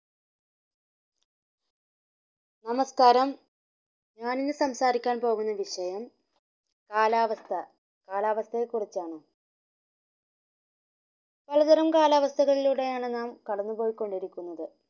നമസ്കാരം ഞാൻ ഇന്ന് സംസാരിക്കാൻ പോകുന്ന വിഷയം കാലാവസ്ഥ കാലാവസ്ഥയെ കുറിച്ചാണ് പലതരം കാലാവസഥകളിലൂടെയാണ് നാം കടന്ന്പോയികൊണ്ടിരിക്കുന്നത്